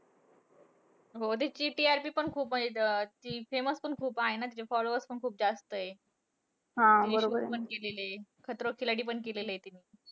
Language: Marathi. हो. तिची TRP पण खूप आहे. अं ती famous पण खूप आहे ना. तिचे followers पण खूप जास्त आहेत. reality shows पण केलेलंय. खतरों के खिलाडी पण केलेलंय तिने.